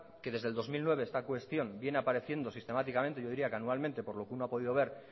que desde el dos mil nueve esta cuestión viene apareciendo sistemáticamente yo diría que anualmente por lo que uno ha podido ver